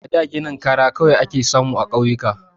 A da ginin kara kawai ake samu a ƙauyuka.